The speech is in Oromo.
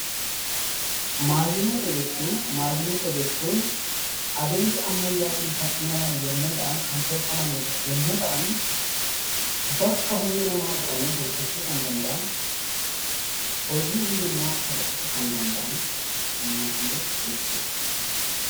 Maashinoota jechuun adeemsa ammayyaatiin kan uumaman yoo ta’an, bakka humna namaa bu'anii hojjechuu kan danda’an, hojii humna namaa salphisuu kan danda'an maashinoota jechuudha.